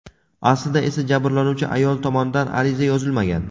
Aslida esa jabrlanuvchi ayol tomonidan ariza yozilmagan.